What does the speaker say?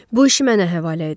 Bu işi mənə həvalə edin.